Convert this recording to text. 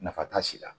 Nafa t'a si la